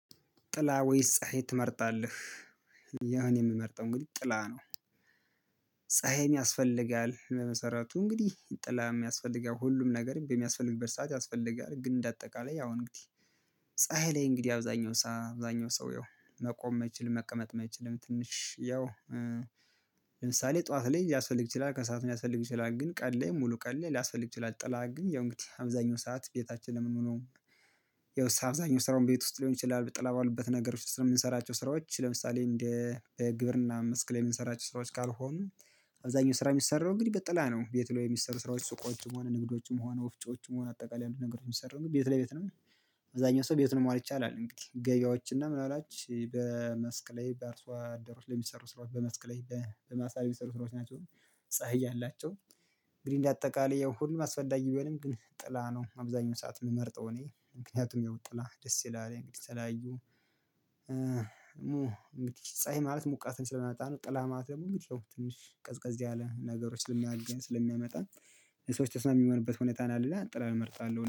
ጥላ ወይስ ፀሀይ ትመርጣለህ? ያውእኔ የምመርጠው ግን ጥላ ነው። ፀሀይም ያስፈልጋል ለመሰረቱ እንግዲህ ጥላ የሚያስፈልገው ሁሉም ነገር በሚያስፈልግበት ሰዓት ያስፈልጋል። ግን እንደ አጠቃላይ ያው እንግዲህ ፀሀይ ላይ እንግዲህ አብዛኛው ሰው አብዛኛው ሰው መቆም አችልም መቀመጥም አይችልም። ትንሽ ያው ለምሳሌ ጠዋት ላይ ሊያስፈልግ ይችላል ከሰአት ሊያስፈልግ ይችላል ግን ቀን ላይ ሙሉ ቀን ላይ ላያስፈልግ ይችላል። ጥላ ግን ያው እንግዲህ አብዛኛው ሰዓት ቤታችን ለመሆኑ። ያው አብዛኛው ስራውን ቤት ውስጥ ሊሆን ይችላል። ብጥላ የማይባሉበት ነገሮች ስለምንሰራቸው ስራዎች ለምሳሌ እንደ ግብርና መስክ ላይ የምንሰራቸው ስራዎች ካልሆኑ። አብዛኛው ስራ የሚሰራው እንግዲህ በጥላ ነው። ቤትውለው የሚሰሩ ስራዎች ሱቆችም ሆነ ንግዶችም ሆነ ወፍጮችም ሆነ አጠቃላይ አንዳንድ ነገሮችን ሰራን ግን ቤት ለቤት ነው። አብዛኛው ሰው ቤት መዋል ይቻላል። እንግዲህ ገቢያዎች እና ምን አላችሁ በመስክ ላይ በአርሷ አደሮች ለሚሰሩ ስራዎች በመስክ ላይ በማሳ የሚሰሩ ስራዎች ናቸው። ፀሀይ ያላቸው። እንግዲህ እንደ አጠቃላይ ይሄን ሁሉ አስፈላጊ ቢሆንም ግን ጥላ ነው። አብዛኛው ሰዓት የምመርጠው እኔ ምክንያቱም ጥላ ደስ ይላል። እንግዲህ ተለያዩ ሙ ሙቲቲስ ፀሀይ ማለት ሙቀትን እንችላለን። ጠላ ማለት ደግሞ የሚለው ትንሽ ቀዝቀዝ ያለ ነገሮች ስለሚያገኝ ስለሚያመጣ። ሰዎች ተስማሚ ሚሆንበት ሁኔታ ነው። ሌላ ጥላን እመርጣለሁ